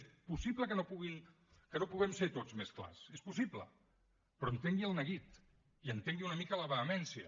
és possible que no puguem ser tots més clars és possible però entengui el neguit i entengui una mica la vehemència